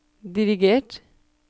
dirigert